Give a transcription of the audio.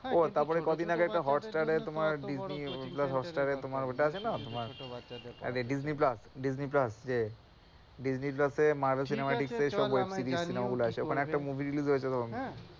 ও তারপরে কদিন আগে একটা হটস্টার এ তোমার ডিজনি প্লাস হটস্টার এ তোমার ওটা আছে না তোমার ডিজনি প্লাসডিজনি প্লাস যে ডিজনি প্লাস এ মারভেল সিনেমাটিক এ সব web series cinema গুলো আছে ওখানে একটা movie release হয়েছে,